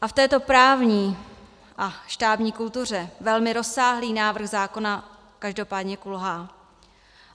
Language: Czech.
A v této právní a štábní kultuře velmi rozsáhlý návrh zákona každopádně kulhá.